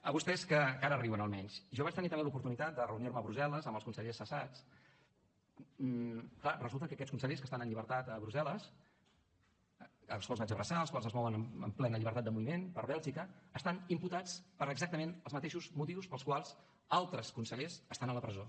a vostès que ara riuen almenys jo vaig tenir també l’oportunitat de reunir me a brussel·les amb els consellers cessats clar resulta que aquests consellers que estan en llibertat a brussel·les els quals vaig abraçar els quals es mouen amb plena llibertat de moviment per bèlgica estan imputats per exactament els mateixos motius pels quals altres consellers estan a la presó